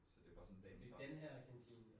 Så det var sådan dagens ret